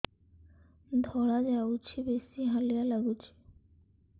ଧଳା ଯାଉଛି ବେଶି ହାଲିଆ ଲାଗୁଚି